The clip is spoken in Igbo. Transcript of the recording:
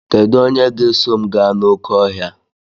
Kedu onye ga-eso m gaa n'oké ọhịa?